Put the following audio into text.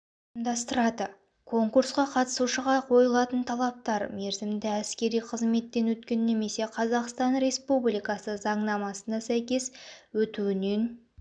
ұйымдастырады конкурсқа қатысушыға қойылатын талаптар мерзімді әскери қызметтен өткен немесе қазақстан республикасы заңнамасына сәйкес өтуінен